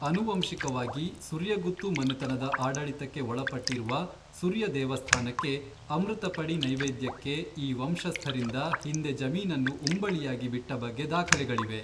ಅನುವಂಶಿಕವಾಗಿ ಸುರ್ಯಗುತ್ತು ಮನೆತನದ ಆಡಳಿತಕ್ಕೆ ಒಳಪಟ್ಟಿರುವ ಸುರ್ಯ ದೇವಸ್ಥಾನಕ್ಕೆ ಅಮೃತಪಡಿ ನೈವೇದ್ಯಕ್ಕೆ ಈ ವಂಶಸ್ಥರಿಂದ ಹಿಂದೆ ಜಮೀನನ್ನು ಉಂಬಳಿಯಾಗಿ ಬಿಟ್ಟ ಬಗ್ಗೆ ದಾಖಲೆಗಳಿವೆ.